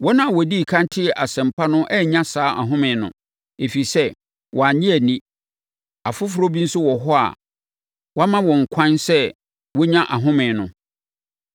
Wɔn a wɔdii ɛkan tee Asɛmpa no annya saa ahome no, ɛfiri sɛ, wɔannye anni. Afoforɔ bi nso wɔ hɔ a wama wɔn ɛkwan sɛ wɔnnya ahome no.